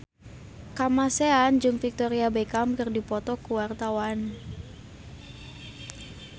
Kamasean jeung Victoria Beckham keur dipoto ku wartawan